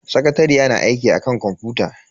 Sakatariyar na aiki akan kwamfuta.